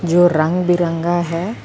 ਇਹ ਰੰਗ ਬਿਰੰਗਾ ਹੈ।